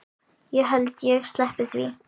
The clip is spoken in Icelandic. Ég held ég sleppi því.